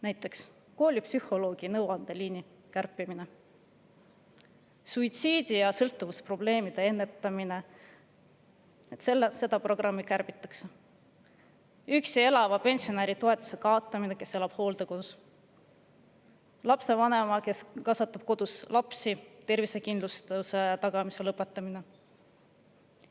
Näiteks koolipsühholoogi nõuandeliini kärpimine; suitsiidi ja sõltuvusprobleemide ennetamise programmi kärpimine; üksi elava pensionäri toetuse kaotamine, kui elab hooldekodus; tervisekindlustuse tagamise lõpetamine lapsevanemal, kes kasvatab kodus lapsi.